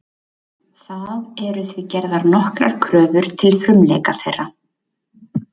Það eru því gerðar nokkrar kröfur til frumleika þeirra.